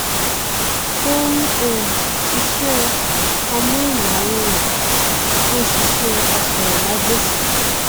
ó um n ṣiṣẹ amóhùmáwòrán ó n ṣiṣẹ asọrọmágbèsì